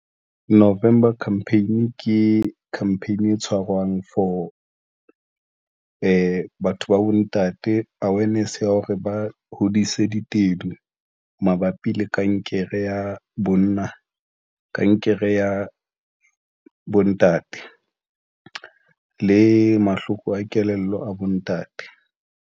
November campaign ke campaign tshwarwang for batho ba bontate awareness ya hore ba hodise ditedu mabapi le kankere ya bonna, kankere ya bontate le mahloko a kelello a bontate.